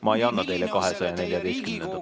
Ma ei anna teile 214. protseduurilist küsimust.